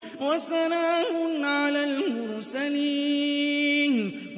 وَسَلَامٌ عَلَى الْمُرْسَلِينَ